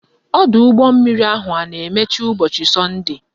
Ọdọụgbọmmiri ahụ a na-emechi ụbọchị sọnde?